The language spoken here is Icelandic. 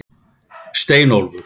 Steinólfur